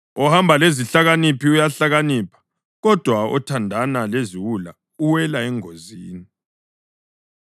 Ohamba lezihlakaniphi uyahlakanipha, kodwa othandana leziwula uwela engozini.